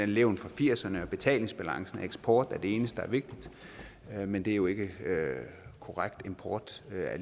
levn fra firserne og at betalingsbalancen og eksport er det eneste der er vigtigt men det er jo ikke korrekt import er